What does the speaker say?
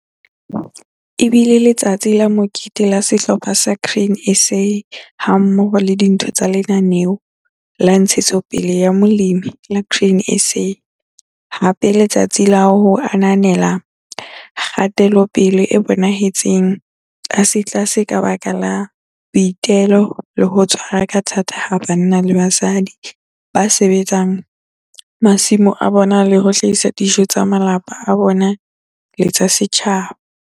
E bile LETSATSI LA MOKETE la sehlopha sa Grain SA hammoho le ditho tsa lenaneo la Ntshetsopele ya Molemi la Grain SA - hape letsatsi la ho ananela kgatelopele e bonahetseng tlasetlase ka baka la boitelo le ho tshwara ka thata ha banna le basadi ba sebetsang masimo a bona le ho hlahisa dijo tsa malapa a bona le tsa setjhaba.